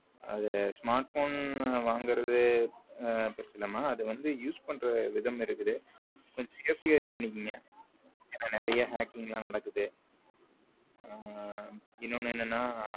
அத smartphone வாங்குறது பெருசு இல்லமா அது use பண்ற விதம் இருக்குது கொஞ்சம் safety ஆ இது பண்ணிக்கோங்க ஏன்னா நிறைய hacking எல்லாம் நடக்குது இன்னொன்னு என்னன்னா